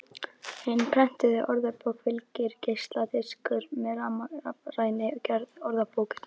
Hinni prentuðu orðabók fylgir geisladiskur með rafrænni gerð orðabókarinnar.